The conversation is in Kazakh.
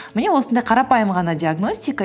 міне осындай қарапайым ғана диагностика